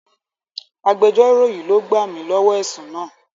Agbéjọ́rò yìí ló gbà mi lọ́wọ́ ẹ̀sùn náà.